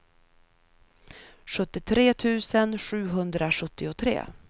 sjuttiotre tusen sjuhundrasjuttiotre